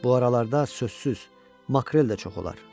Bu aralarda sözsüz, makrel də çox olar.